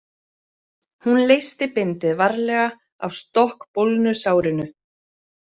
Hún leysti bindið varlega af stokkbólgnu sárinu.